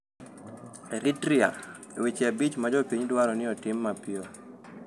Eritrea: Weche abich ma jopiny dwaro ni otim mapiyo